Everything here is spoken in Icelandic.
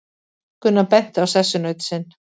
Gunnar benti á sessunaut sinn.